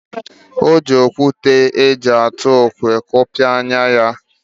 Ọ ji okwute eji atụ okwe kụkpọ ya anya.